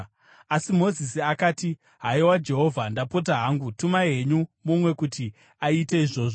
Asi Mozisi akati, “Haiwa Jehovha, ndapota hangu, tumai henyu mumwe kuti aite izvozvo.”